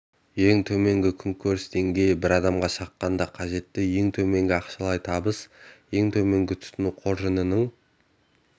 ең төменгі күнкөріс деңгейі бір адамға шаққанда қажетті ең төменгі ақшалай табыс ең төменгі тұтыну қоржынының